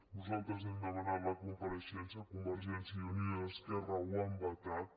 nosaltres n’hem demanat la compareixença convergència i unió i esquerra ho han vetat